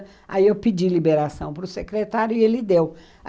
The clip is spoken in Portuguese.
Aí eu pedi liberação para o secretário e ele deu.